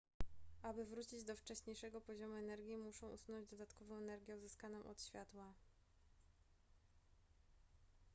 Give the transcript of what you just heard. aby wrócić do wcześniejszego poziomu energii muszą usunąć dodatkową energię uzyskaną od światła